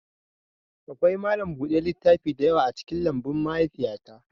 Akwai malam buɗe littaf da yawa a cikin lambun mahaifiyata